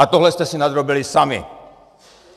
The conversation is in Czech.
A tohle jste si nadrobili sami.